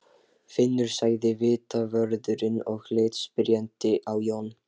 Finnur sagði vitavörðurinn og leit spyrjandi á Jón.